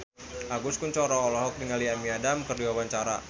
Agus Kuncoro olohok ningali Amy Adams keur diwawancara